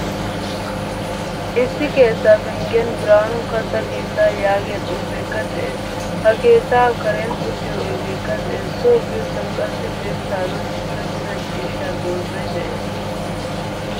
Issi keettaa penggiyan birhanu katta keettaa yaagiyaa xuufekka de'ees. H keettaa karen uttiyo oydekka de'ees. So biyosan qassi dirssadan tokkettida ciishshaa doozay de'ees.